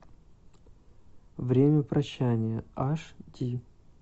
время прощания аш ди